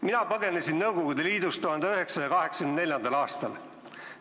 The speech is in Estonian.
Mina põgenesin Nõukogude Liidust 1984. aastal.